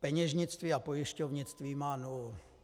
Peněžnictví a pojišťovnictví má nulu.